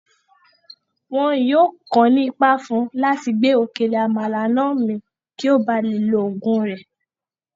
Wọn yìí ó kàn ní Ipá fún láti gbé òkèlè Àmàlà náà min kí ó bá lè lo oògùn rẹ̀